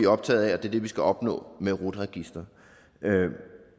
optaget af er det vi skal opnå med rut registeret